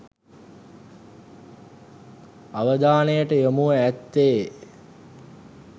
අවධානයට යොමුව ඇත්තේ